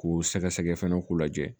K'u sɛgɛsɛgɛ fana k'u lajɛ